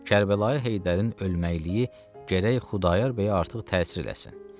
Kərbəlayı Heydərin ölməliyi gərək Xudayar bəyə artıq təsir eləsin.